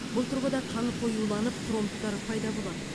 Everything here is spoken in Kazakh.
бұл тұрғыда қан қоюланып тромбтар пайда болады